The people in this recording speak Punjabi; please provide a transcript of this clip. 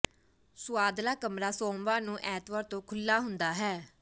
ਸੁਆਦਲਾ ਕਮਰਾ ਸੋਮਵਾਰ ਨੂੰ ਐਤਵਾਰ ਤੋਂ ਖੁੱਲ੍ਹਾ ਹੁੰਦਾ ਹੈ